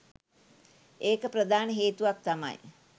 එක ප්‍රධාන හේතුවක් තමයි